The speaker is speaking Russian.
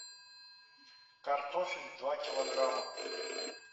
картофель два килограмма